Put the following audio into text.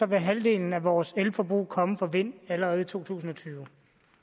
vil halvdelen af vores elforbrug komme fra vind allerede i to tusind og tyve